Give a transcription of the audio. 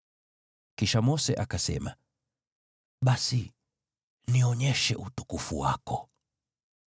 Kisha Mose akasema, “Basi nionyeshe utukufu wako.”